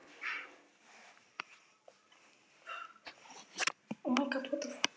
Hún horfði með aðdáun á Tóta.